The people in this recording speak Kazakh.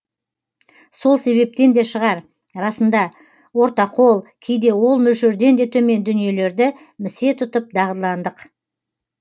сол себептен де шығар расында ортақол кейде ол мөлшерден де төмен дүниелерді місе тұтып дағдыландық